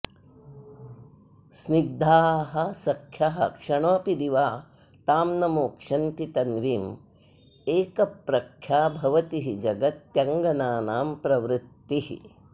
स्निग्धाः सख्यः क्षणमपि दिवा तां न मोक्ष्यन्ति तन्वीं एकप्रख्या भवति हि जगत्यङ्गनानां प्रवृत्तिः